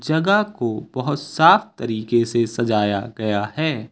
जगह को बहुत साफ तरीके से सजाया गया है।